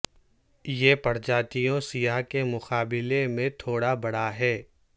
یہ پرجاتیوں سیاہ کے مقابلے میں تھوڑا بڑا ہے